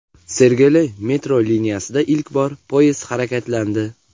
Sergeli metro liniyasida ilk bor poyezd harakatlandi.